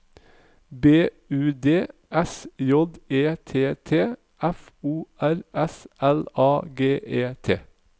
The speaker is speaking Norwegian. B U D S J E T T F O R S L A G E T